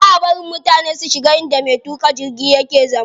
Baʼa bari mutane su shiga inda me tuƙa jirgi yake zama.